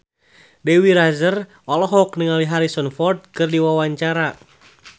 Dewi Rezer olohok ningali Harrison Ford keur diwawancara